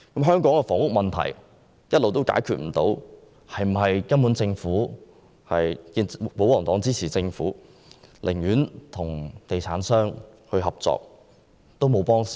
香港的房屋問題一直未能解決，是否因為保皇黨支持政府，寧願與地產商合作也不幫助市民？